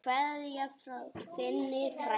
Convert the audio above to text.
Kveðja frá þinni frænku.